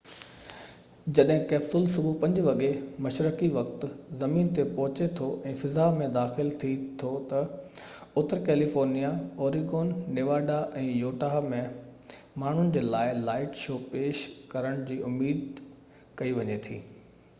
جڏهن ڪئپسول صبح 5 وڳي مشرقي وقت زمين تي پهچي ٿو ۽ فضا ۾ داخل ٿي ٿو ته، اتر ڪيليفورنيا، اوريگون نيواڊا، ۽ يوٽها ۾ ماڻهن جي لاءِ لائٽ شو پيش ڪرڻ جي اميد ڪئي وڃي ٿي